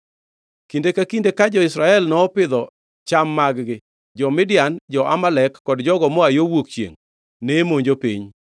Kinde ka kinde mane jo-Israel opidho cham mag-gi, jo-Midian, jo-Amalek kod jogo moa yo wuok chiengʼ ne monjo piny.